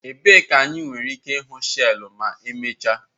Ebee ka anyị nwere ike ịhụ shells ma emechaa?